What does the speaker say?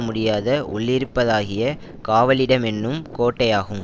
முடியாத உள்ளிருப்பதாகிய காவலிடமென்னும் கோட்டையாகும்